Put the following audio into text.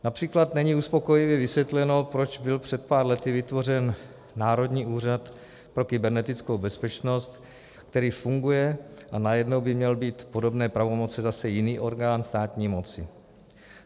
Například není uspokojivě vysvětleno, proč byl před pár lety vytvořen Národní úřad pro kybernetickou bezpečnost, který funguje, a najednou by měl mít podobné pravomoci zase jiný orgán státní moci.